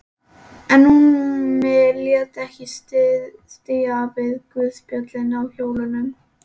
En Númi lét ekki sitja við guðspjöll á hjólum.